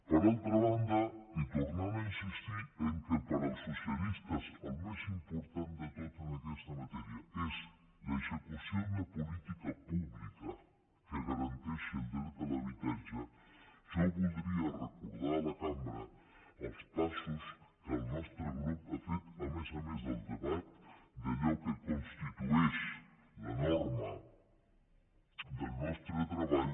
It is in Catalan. per altra banda i tornant a insistir que pels socialistes el més important de tot en aquesta matèria és l’execució d’una política pública que garanteixi el dret a l’habitatge jo voldria recordar a la cambra els passos que el nostre grup ha fet a més a més del debat d’allò que constitueix la norma del nostre treball